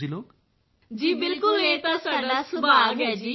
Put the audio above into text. ਸਮੂਹ ਆਵਾਜ਼ ਜੀ ਬਿਲਕੁਲ ਇਹ ਤਾਂ ਸਾਡਾ ਸੁਭਾਗ ਹੈ ਜੀ